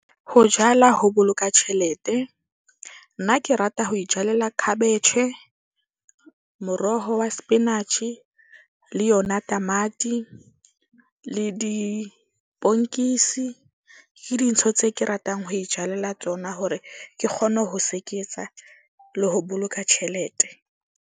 Ho jwala ho boloka tjhelete. Nna ke rata ho ijwalela khabetjhe, moroho wa sepinatjhe le yona tamati le . Ke dintho tse ke ratang ho ijwalela tsona hore ke kgone ho seketsa le ho boloka tjhelete.